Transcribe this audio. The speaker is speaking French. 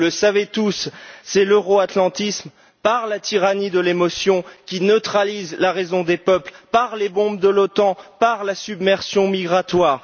Vous le savez tous, c'est l'euro atlantisme par la tyrannie de l'émotion neutralisant la raison des peuples, par les bombes de l'OTAN et par la submersion migratoire.